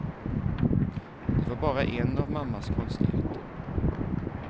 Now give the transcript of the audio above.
Det var bara en av mammas konstigheter.